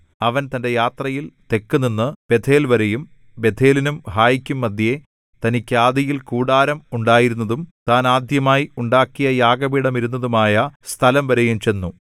അവൻ തന്‍റെ യാത്രയിൽ തെക്കുനിന്ന് ബേഥേൽവരെയും ബേഥേലിനും ഹായിക്കും മദ്ധ്യേ തനിക്ക് ആദിയിൽ കൂടാരം ഉണ്ടായിരുന്നതും താൻ ആദ്യമായി ഉണ്ടാക്കിയ യാഗപീഠമിരുന്നതുമായ സ്ഥലംവരെയും ചെന്നു